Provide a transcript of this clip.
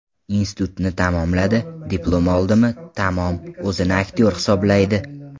Institutni tamomladi, diplom oldimi, tamom, o‘zini aktyor hisoblaydi.